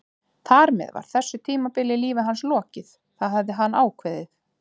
Þar með var þessu tímabili í lífi hans lokið, það hafði hann ákveðið.